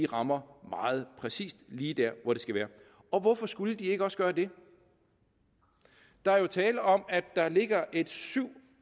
rammer meget præcist lige der hvor det skal være hvorfor skulle de ikke også gøre det der er jo tale om at der ligger et syv